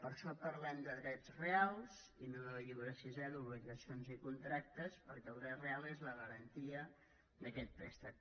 per això parlem de drets reals i no del llibre sisè d’obligacions i contractes perquè el dret real és la garantia d’aquest préstec